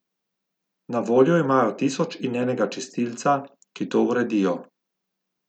Na voljo imajo tisoč in enega čistilca, ki to uredijo.